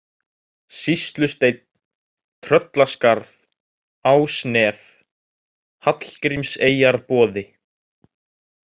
Sýslusteinn, Tröllaskarð, Ásnef, Hallgrímseyjarboði